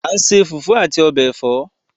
A n se fufu ati obe èfọ́